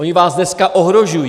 Oni vás dneska ohrožují.